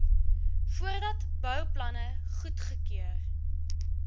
voordat bouplanne goedgekeur